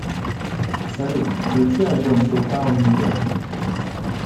салют включи альбом чиллтаун нью йорк